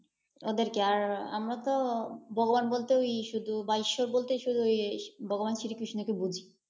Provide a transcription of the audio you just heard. ওদেরকে, আর আমরা তো ভগবান বলতে ওই শুধু বা ঈশ্বর বলতে, শুধু ভগবান শ্রীকৃষ্ণ কে বুঝি।